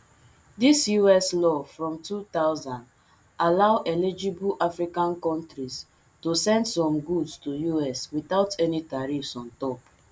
dis us law from two thousand allow eligible african kontris to send some goods to us without any tariffs on top